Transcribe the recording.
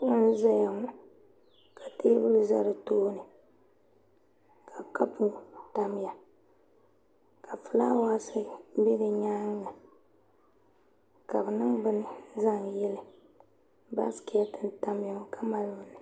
kuɣu n ʒɛya ŋɔ ka teebuli ʒɛ di tooni ka kapu tamya ka fulaawaasi bɛ di nyaanga ka bi niŋ bini zaŋ yili baskɛt n tamya ŋɔ ka mali bini